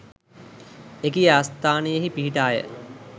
එකී ආස්ථානයෙහි පිහිටාය.